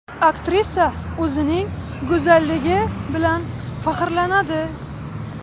Aktrisa o‘zining go‘zalligi bilan faxrlanadi.